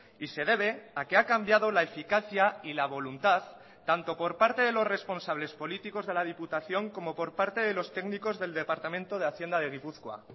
y se debe a que ha cambiado la eficacia y la voluntad tanto por parte de los responsables políticos de la diputación como por parte de los técnicos del departamento de hacienda de gipuzkoa